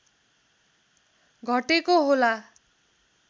घटेको होला